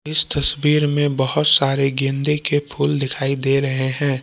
इस तस्वीर मे बहुत सारे गेंदे के फूल दिखाई दे रहे हैं।